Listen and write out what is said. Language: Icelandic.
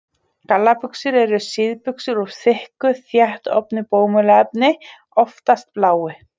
Gallabuxur eru síðbuxur úr þykku, þéttofnu bómullarefni, oftast bláu.